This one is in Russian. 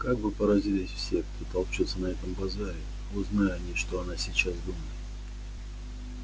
как бы поразились все кто толчётся на этом базаре узнай они что она сейчас думает